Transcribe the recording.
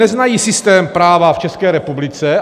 Neznají systém práva v České republice.